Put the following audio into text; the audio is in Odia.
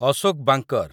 ଅଶୋକ ବାଙ୍କର